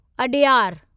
Adyar